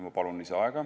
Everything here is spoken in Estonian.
Ma palun lisaaega.